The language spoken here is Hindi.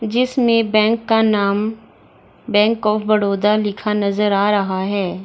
जिसने बैंक का नाम बैंक ऑफ़ बड़ोदा लिखा नजर आ रहा है।